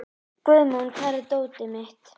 Guðmon, hvar er dótið mitt?